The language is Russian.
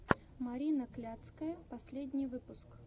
марина кляцкая последний выпуск